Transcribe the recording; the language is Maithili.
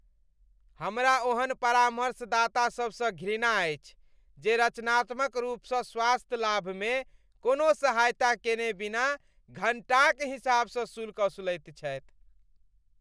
हमरा ओहेन परामर्शदातासभसँ घृणा अछि जे रचनात्मक रूपसँ स्वास्थ्य लाभमे कोनो सहायता केने बिना घण्टाक हिसाबसँ शुल्क असुलैत छथि।